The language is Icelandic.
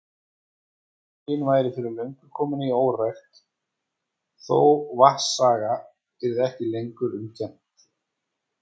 Mýrin væri fyrir löngu komin í órækt, þó vatnsaga yrði ekki lengur um kennt.